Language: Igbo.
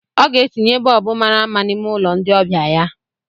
ọ ga-etinye bọlbụ mara mma n'ime ụlọ ndị ọbịa ya